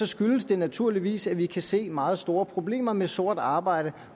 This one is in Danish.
skyldes det naturligvis at vi kan se meget store problemer med sort arbejde